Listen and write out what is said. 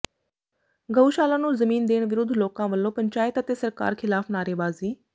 ਗਊਸ਼ਾਲਾ ਨੂੰ ਜ਼ਮੀਨ ਦੇਣ ਵਿਰੁੱਧ ਲੋਕਾਂ ਵੱਲੋਂ ਪੰਚਾਇਤ ਅਤੇ ਸਰਕਾਰ ਖ਼ਿਲਾਫ਼ ਨਾਅਰੇਬਾਜ਼ੀ